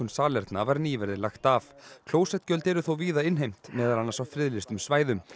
salerna var nýverið lagt af klósettgjöld eru þó víða innheimt meðal annars á friðlýstum svæðum